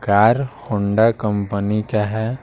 Car Honda company का है।